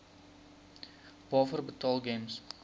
waarvoor betaal gems